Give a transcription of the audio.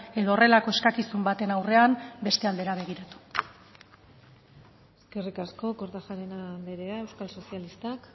edo horrelako eskakizun baten aurrean beste aldera begiratu eskerrik asko kortajarena anderea euskal sozialistak